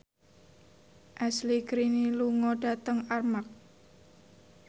Ashley Greene lunga dhateng Armargh